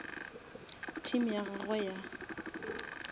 team ya gagwe ya go